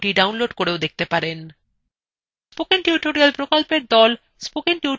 কথ্য tutorial প্রকল্প the